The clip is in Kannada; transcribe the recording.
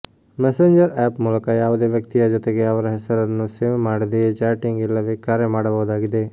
ಮೆಸೆಂಜರ್ ಆ್ಯಪ್ ಮೂಲಕ ಯಾವುದೇ ವ್ಯಕ್ತಿಯ ಜೊತೆಗೆ ಅವರ ಹೆಸರನ್ನು ಸೇವ್ ಮಾಡದೆಯೇ ಚಾಟಿಂಗ್ ಇಲ್ಲವೇ ಕರೆ ಮಾಡಬಹುದಾಗಿದೆ